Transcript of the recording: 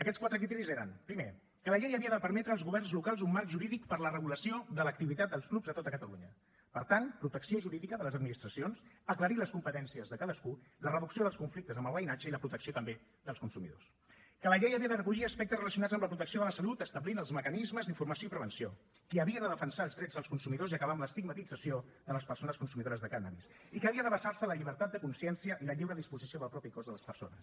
aquests quatre criteris eren primer que la llei havia de permetre als governs locals un marc jurídic per a la regulació de l’activitat dels clubs a tot catalunya per tant protecció jurídica de les administracions aclarir les competències de cadascú la reducció dels conflictes amb el veïnatge i la protecció també dels consumidors que la llei havia de recollir aspectes relacionats amb la protecció de la salut i establir els mecanismes d’informació i prevenció que havia de defensar els drets dels consumidors i acabar amb l’estigmatització de les persones consumidores de cànnabis i que havia de basar se en la llibertat de consciència i la lliure disposició del propi cos de les persones